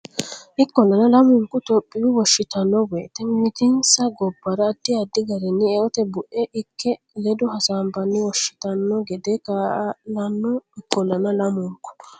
Ikkollana lamunku Itophiyu Wonshitanno woyte mimmitinsa gobbara addi addi garinni eote bue ikke ledo hasaabbanni wonshitanno gede kaa lanno Ikkollana lamunku.